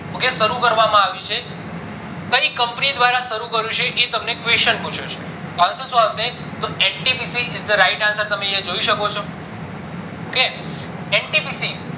ok શરુ કરવામાં આવ્યું છે કઈ company દ્વારા શરુ કર્યું છે એ તમને question પૂછ્યો છે તો answer શું આવશે ntpcis the right answer તમે યા જોઈ શકો છો okntpc